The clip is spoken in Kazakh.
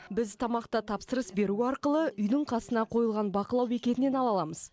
біз тамақты тапсырыс беру арқылы үйдің қасына қойылған бақылау бекетінен ала аламыз